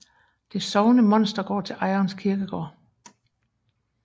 Det sovende monster går til ejerens kirkegård